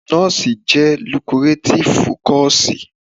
Nọ́ọ̀sì jẹ́ lukurátífú kọọ̀sì.